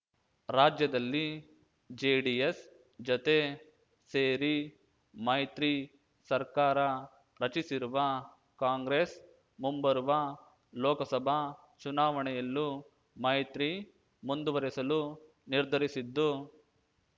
ರಾಜ್ಯದಲ್ಲಿ ಜೆಡಿಎಸ್ ಜತೆ ಸೇರಿ ಮೈತ್ರಿಸರ್ಕಾರ ರಚಿಸಿರುವ ಕಾಂಗ್ರೆಸ್ ಮುಂಬರುವ ಲೋಕಸಭಾ ಚುನಾವಣೆಯಲ್ಲೂ ಮೈತ್ರಿ ಮುಂದುವರೆಸಲು ನಿರ್ಧರಿಸಿದ್ದು